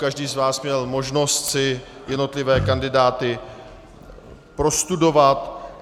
Každý z vás měl možnost si jednotlivé kandidáty prostudovat.